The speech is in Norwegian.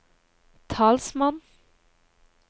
talsmann